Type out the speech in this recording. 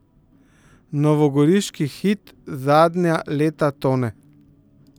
Novogoriški Hit zadnja leta tone.